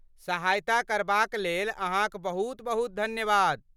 सहायता करबाक लेल अहाँक बहुत बहुत धन्यवाद।